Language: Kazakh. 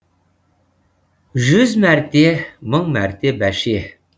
жүз мәрте мың мәрте баше